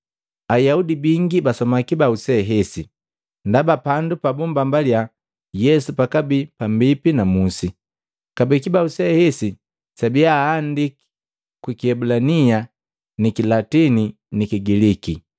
Ayaudi bingi basoma kibau se hesi, ndaba pandu pabummbambaliya Yesu pakabii pambipi na Musi. Kabee kibau se hesi sabiya aandiki kwi kiebulania ni kilatini ni kigiliki.